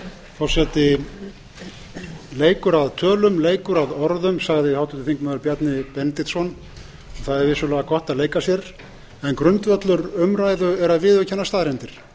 forseti leikur að tölum leikur að orðum sagði háttvirtur þingmaður bjarni benediktsson það er vissulega gott að leika sér en grundvöllur umræðu er að viðurkenna staðreyndir